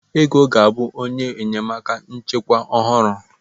Ego ga-abụ onye enyemaka nchịkwa ọhụrụ.